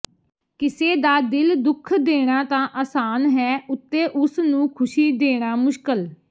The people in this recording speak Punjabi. ਕਿਸੇ ਦਾ ਦਿਲ ਦੁੱਖ ਦੇਣਾ ਤਾਂ ਆਸਾਨ ਹੈ ਉੱਤੇ ਉਸਨੂੰ ਖੁਸ਼ੀ ਦੇਣਾ ਮੁਸ਼ਕਲ